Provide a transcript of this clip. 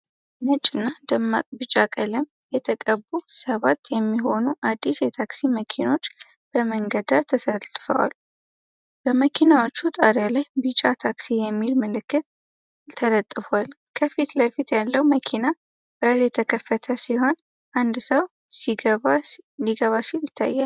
ነጭ እና ደማቅ ቢጫ ቀለም የተቀቡ ሰባት የሚሆኑ አዲስ የታክሲ መኪኖች በመንገድ ዳር ተሰልፈው ይታያሉ። በመኪናዎቹ ጣሪያ ላይ ቢጫ “TAXI” የሚል ምልክት ተለጥፏል። ከፊት ለፊት ያለው መኪና በር የተከፈተ ሲሆን፣ አንድ ሰው ሊገባ ሲል ይታያል።